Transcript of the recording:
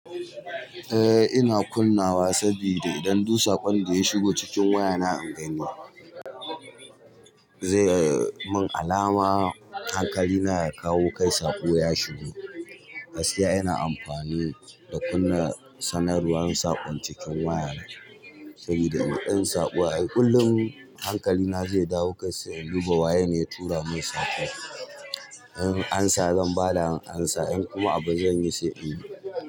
Eh ina kunnawa sabida idan duk saƙon da ya shigo cikin wayana an gani ba zai mun alama hankali na ya kawo kai saƙo ya shigo. Gaskiya ina amfani da kunna sanarwar saƙon cikin waya saboda idan saƙon ƙullun hankali na zai dawo kai sai in duba waya ne tura mun saƙo. In ansa zan bada ansa in kuma abu zan yi sai in.